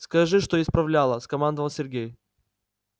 скажи что исправляла скомандовал сергей